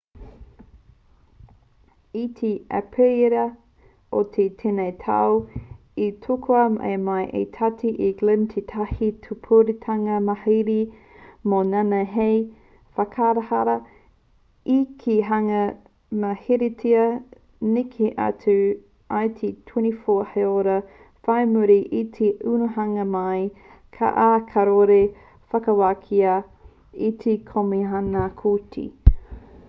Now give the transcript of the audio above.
i te aperira o tēnei tau i tukua mai e te tiati e glynn tētahi pupuritanga mauhere mō nāianei hei whakakaha i te hunga i mauheretia neke atu i te 24 haora whai muri i te unuhanga mai ā kāore i whakawākia e te komihana kooti